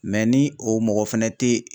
ni o mɔgɔ fɛnɛ tɛ